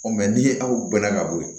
ni ye aw bɛɛ la ka bɔ yen